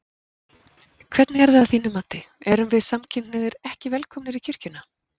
Hvernig er það að þínu mati, erum við samkynhneigðir ekki velkomnir í kirkjuna?